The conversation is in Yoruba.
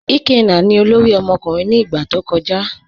Ikenna ni ọlọ́rì ọmọkùnrin ni igba tó kọja.